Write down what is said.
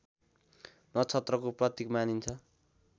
नक्षत्रको प्रतीक मानिन्छ